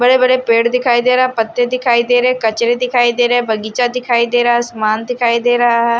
बड़े बड़े पेड़ दिखाई दे रहा पत्ते दिखाई दे रहे है कचरे दिखाई दे रहे है बगीचा दिखाई दे रहा है आसमान दिखाई दे रहा--